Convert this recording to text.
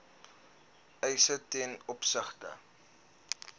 eise ten opsigte